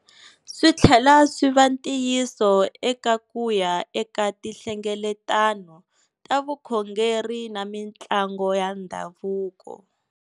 Swi tlhela swi va ntiyiso eka ku ya eka tihlengeletano ta vukhongeri na mitlangu ya ndhavuko.